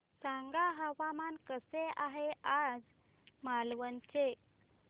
सांगा हवामान कसे आहे आज मालवण चे